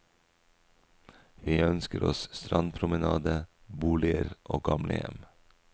Vi ønsker oss strandpromenade, boliger og gamlehjem.